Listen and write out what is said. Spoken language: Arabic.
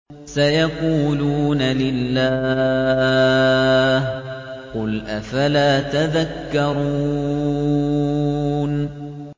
سَيَقُولُونَ لِلَّهِ ۚ قُلْ أَفَلَا تَذَكَّرُونَ